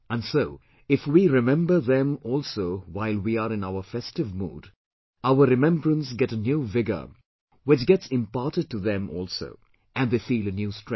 And so if we remember them also while we are in our festive mood, our remembrance gets a new vigour which gets imparted to them also and they feel a new strength